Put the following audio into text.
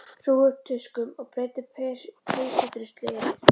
Hrúguðu upp tuskum og breiddu peysudruslu yfir.